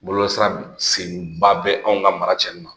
Bɔlɔlɔsira senba bɛ anw ka mara cɛnni ma